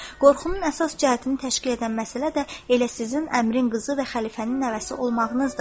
Qorxunun əsas cəhətini təşkil edən məsələ də elə sizin əmirin qızı və xəlifənin nəvəsi olmağınızdır.